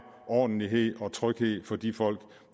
ordentlighed og tryghed for de folk